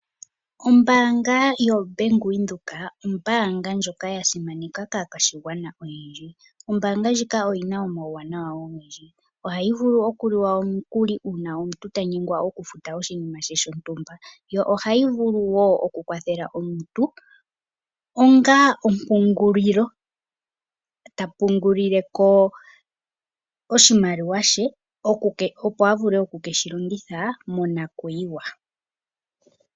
Ombaanga yoWindhoek ombaanga ndjono ya simaneka kaa kwadhigwana. Ombaanga ndjika oyi na omawuwanawa ogendji, oha yi vulu okuliwa omukuli, uuna omuntu tanyengwa oku futa oshinima she shontumba. Yo ohayi vulu woo okukwathela omuntu ongaa ompungulilo, ta pungulile ko oshimaliwa she opo avule oku keshi longitha monakuyiwa.